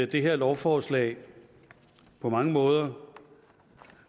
det her lovforslag på mange måder